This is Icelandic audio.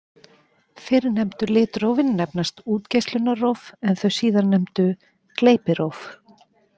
Fyrrnefndu litrófin nefnast útgeislunarróf en þau síðarnefndu gleypiróf.